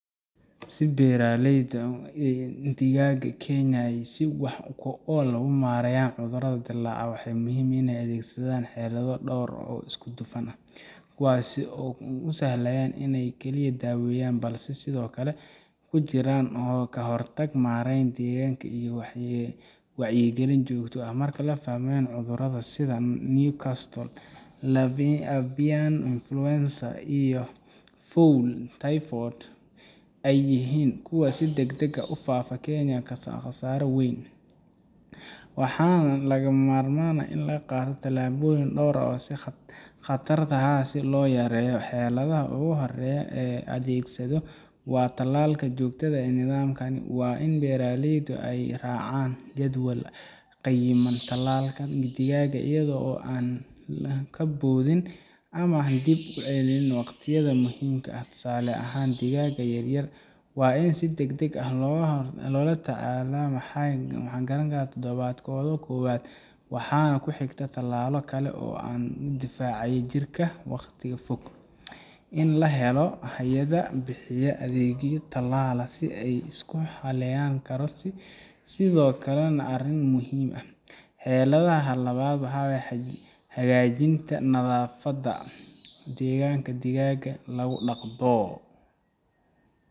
Si beeraleyda digaaga ee Kenya ay si wax ku ool ah u maareeyaan cudurrada dillaaca, waxaa muhiim ah inay adeegsadaan xeelado dhowr ah oo isku dhafan, kuwaas oo aan ku salaysnayn keliya daaweyn, balse ay sidoo kale ku jiraan ka-hortag, maarayn deegaanka, iyo wacyigelin joogto ah. Marka la fahmo in cudurrada sida Newcastle, avian influenza, iyo fowl typhoid ay yihiin kuwa si degdeg ah u faafa kuna keenaya khasaare weyn, waxaa lagama maarmaan ah in la qaato tallaabooyin dhowr ah si khatarahaas loo yareeyo. Xeeladda ugu horreysa ee la adeegsado waa tallaalka joogtada ah oo nidaamsan. Waa in beeraleydu ay u raacaan jadwal cayiman tallaalka digaaga iyaga oo aan ka boodin ama dib u dhigin waqtiyada muhiimka ah. Tusaale ahaan, digaaga yaryar waa in si degdeg ah loo tallaalaa markay gaaraan toddobaadkooda koowaad, waxaana ku xiga tallaallo kale oo ah kuwo difaacaya jirka wakhti fog. In la helo hay’ado bixiya adeegyo tallaal oo la isku halleyn karo sidoo kale waa arrin muhiim ah. Xeeladda labaad waa hagaajinta nadaafadda deegaanka digaaga lagu dhaqo.